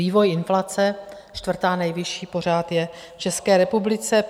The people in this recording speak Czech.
Vývoj inflace, čtvrtá nejvyšší je pořád v České republice.